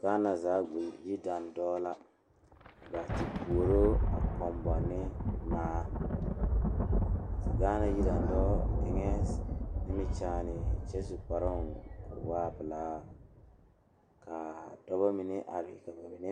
Dɔɔ ane o pɔge ne ba biiri la be gɔdo zu a biiri eɛ bata kaŋa naŋ kaa bile lɛ kyɛ ka bayi